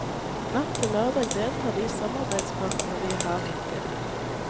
Natt til lørdag deltar de samarbeidspartene vi har hittil.